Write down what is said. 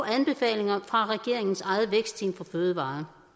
anbefalinger fra regeringens eget vækstteam for fødevarer